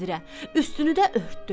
Üstünü də örtdü.